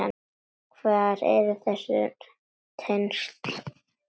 Hver eru þessi tengsl?